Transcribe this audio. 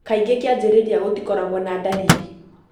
Kaingĩ kĩanjĩrĩria gũtikorago na ndariri.